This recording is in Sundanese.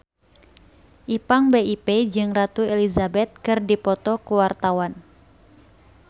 Ipank BIP jeung Ratu Elizabeth keur dipoto ku wartawan